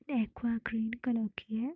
Aqua green colour की है।